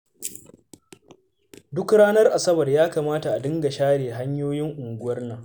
Duk ranar Asabar ya kamata a dinga share hanyoyin unguwar nan